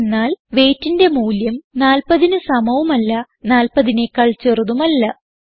എന്തെന്നാൽ weightന്റെ മൂല്യം 40ന് സമവും അല്ല 40നെക്കാൾ ചെറുതും അല്ല